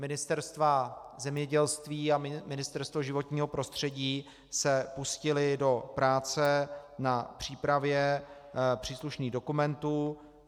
Ministerstvo zemědělství a Ministerstvo životního prostředí se pustily do práce na přípravě příslušných dokumentů.